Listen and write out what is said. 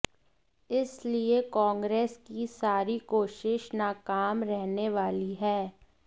इसलिए कांग्रेस की सारी कोशिश नाकाम रहने वाली है